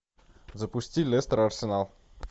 запусти лестер арсенал